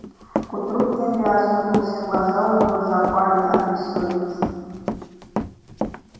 к утру генри осунулся глаза у него запали от бессонницы